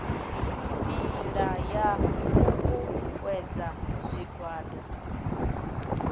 nila ya u uuwedza zwigwada